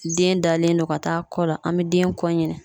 Den dalen don ka taa kɔ la an be den kɔ ɲini